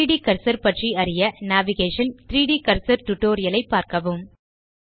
3ட் கர்சர் பற்றி அறிய நேவிகேஷன் - 3ட் கர்சர் டியூட்டோரியல் ஐ பார்க்கவும்